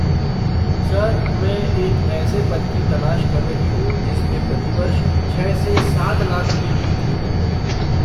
Sir, मैं एक ऐसे पद की तलाश कर रही हूँ जिसमें प्रति वर्ष छः से सात लाख के बीच वेतन मिले।